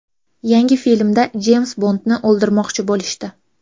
Yangi filmda Jeyms Bondni o‘ldirmoqchi bo‘lishdi.